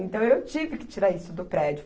Então, eu tive que tirar isso do prédio.